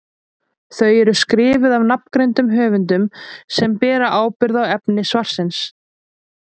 Þau eru skrifuð af nafngreindum höfundum sem bera ábyrgð á efni svarsins.